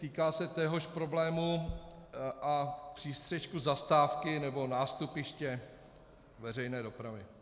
Týká se téhož problému a přístřešku zastávky nebo nástupiště veřejné dopravy.